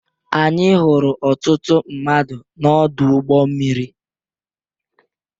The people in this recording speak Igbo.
Anyị hụrụ ọtụtụ mmadụ n'ọdụ ụgbọ mmiri.